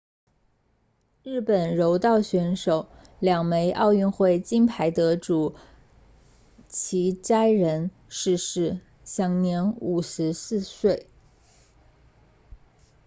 日本柔道选手两枚奥运会金牌得主齐藤仁 hitoshi saito 逝世享年54岁